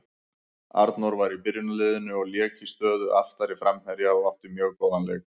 Arnór var í byrjunarliðinu og lék í stöðu aftari framherja og átti mjög góðan leik.